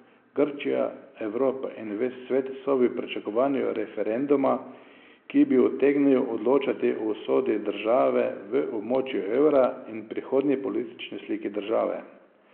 Grčija, Evropa in ves svet so v pričakovanju referenduma, ki bi utegnil odločati o usodi države v območju evra in prihodnji politični sliki države.